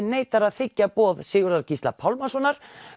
neitar að þiggja boð Sigurðar Gísla Pálmasonar